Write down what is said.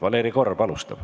Valeri Korb alustab.